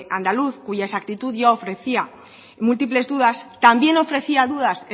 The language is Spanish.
andaluz cuya exactitud ya ofrecía múltiples dudas también ofrecía dudas